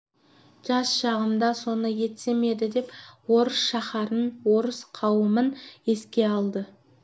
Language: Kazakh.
жас шағымда соны етсем еді деп орыс шаһарын орыс қауымын еске алды